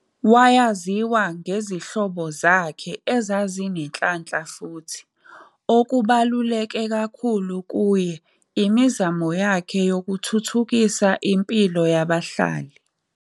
Wayaziwa ngezihlobo zakhe ezazinenhlanhla futhi, okubaluleke kakhulu kuye, imizamo yakhe yokuthuthukisa impilo yabahlali.